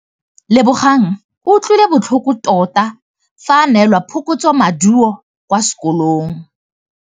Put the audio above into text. Lebogang o utlwile botlhoko tota fa a neelwa phokotsômaduô kwa sekolong.